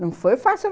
Não foi fácil.